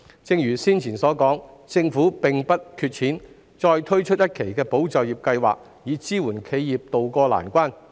正如我剛才所說，政府並不缺錢，絕對有能力再推出一期"保就業"計劃，支援企業渡過難關。